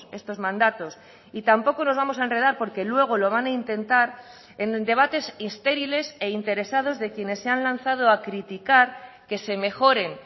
estos mandatos y tampoco nos vamos a enredar porque luego lo van a intentar en debates estériles e interesados de quienes se han lanzado a criticar que se mejoren